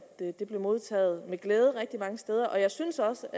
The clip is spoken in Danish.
det blev modtaget med glæde rigtig mange steder jeg synes også